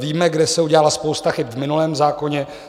Víme, kde se udělala spousta chyb v minulém zákoně.